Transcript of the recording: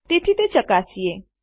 તેથી તે ચકાસીએ